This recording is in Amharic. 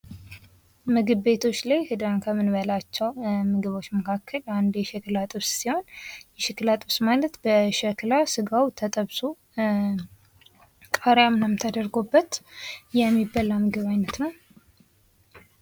ምግብ ቤቶች ላይ ሄደን ከምንበላቸው ምግቦች መካከል አንዱ የሸክላ ጥብስ ሲሆን የሸክላ ጥብስ ማለት በሸክላ ስጋው ተጠብሶ ቃሪያም ተደርጎበት የሚበላ የምግብ አይነት ነው።